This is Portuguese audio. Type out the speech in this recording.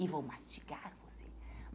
E vou mastigar você.